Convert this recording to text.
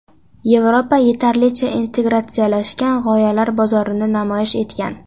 Yevropa yetarlicha integratsiyalashgan g‘oyalar bozorini namoyish etgan.